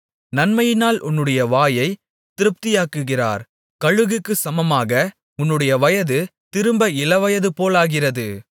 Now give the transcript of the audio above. நன்மையினால் உன்னுடைய வாயைத் திருப்தியாக்குகிறார் கழுகுக்குச் சமமாக உன்னுடைய வயது திரும்ப இளவயது போலாகிறது